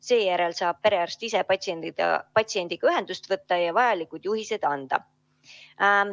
Seejärel saab perearst ise patsiendiga ühendust võtta ja vajalikud juhised anda.